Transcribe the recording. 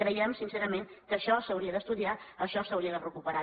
creiem sincerament que això s’hauria d’estudiar això s’hauria de recuperar